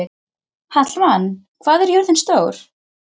Hallmann, hvað er jörðin stór?